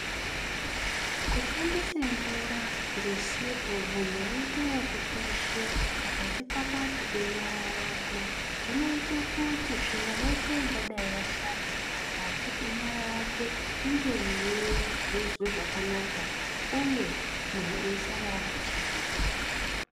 Kushandise mvura ngesipo munhu eite ekukweshe pakati pakati penyara yakwe zvinoite kuti tsvina yeshe ingadai yashare pakati penyara yake inge yeigezwe zvakanaka uye munhu eisara akachena.